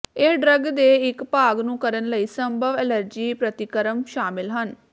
ਇਹ ਡਰੱਗ ਦੇ ਇੱਕ ਭਾਗ ਨੂੰ ਕਰਨ ਲਈ ਸੰਭਵ ਐਲਰਜੀ ਪ੍ਰਤੀਕਰਮ ਸ਼ਾਮਲ ਹਨ